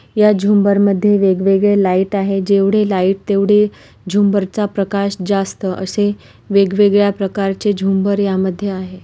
या झूमर मधे वेग वेगले लाइट आहे जेवढे लाइट तेवढे झूमर चा प्रकाश जास्त असे वेग वेगल्या प्रकारचे झूमर या मधे आहे.